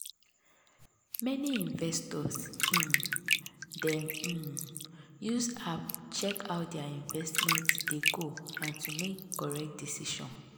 many investors um dey um use app check how their investment dey go and to make correct decision.